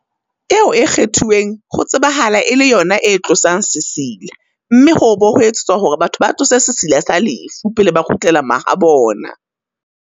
Eo e kgethuweng ho tsebahala e le yona e tlosang sesila, mme ho obo ho etsetswa hore batho ba tlose sesila sa lefu, pele ba kgutlela ma habona.